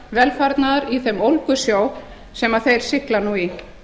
velfarnaðar í þeim ólgusjó sem þeir sigla nú í